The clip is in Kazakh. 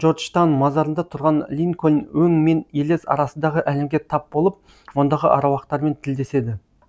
джорджтан мазарында тұрған линкольн өң мен елес арасындағы әлемге тап болып ондағы аруақтармен тілдеседі